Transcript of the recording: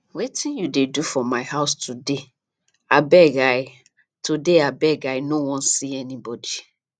wetin you dey do for my house today abeg i today abeg i no wan see anybody